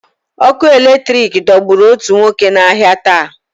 Ọkụ eletrik dọgburu òtù nwoke n'ahịa taa.